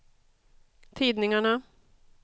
tidningarna